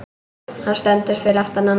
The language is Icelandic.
Hann stendur fyrir aftan hana.